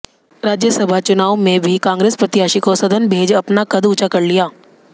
राज्यसभा चुनाव में भी कांग्रेस प्रत्याशी को सदन भेज अपना कद ऊंचा कर लिया